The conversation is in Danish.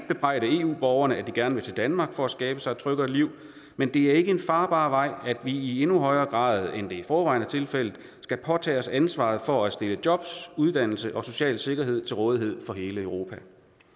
bebrejde eu borgerne at de gerne vil til danmark for at skabe sig et tryggere liv men det er ikke en farbar vej at vi i endnu højere grad end det i forvejen er tilfældet skal påtage os ansvaret for at stille jobs uddannelse og social sikkerhed til rådighed for hele europa